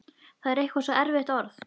Það er eitthvað svo erfitt orð.